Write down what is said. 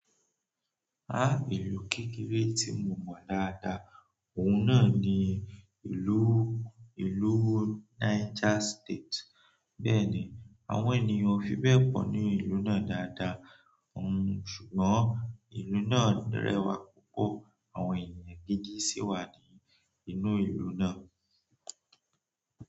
Ìlú kékeré tí mo mọ̀ dáadáa, òun náà ni ìlú, ìlú Niger State. Bẹ́ẹ̀ni, àwọn ènìyàn ò fi bẹ́ẹ̀ pọ̀ ní ìlú náà dáadáa, òun ṣùgbọ́n ìlú náà rẹwà púpọ̀, àwọn ènìyàn gidi sì wà ní inú ìlú náà.